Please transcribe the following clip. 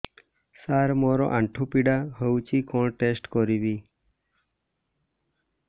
ସାର ମୋର ଆଣ୍ଠୁ ପୀଡା ହଉଚି କଣ ଟେଷ୍ଟ କରିବି